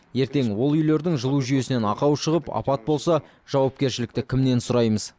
ертең ол үйлердің жылу жүйесінен ақау шығып апат болса жауапкершілікті кімнен сұраймыз